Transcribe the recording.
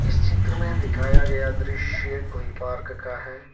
इस चित्र में दिखाया गया दृश्य कोई पार्क का है।